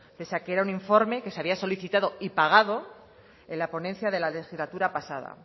pese a que era un informe que se había solicitado y pagado en la ponencia de la legislatura pasada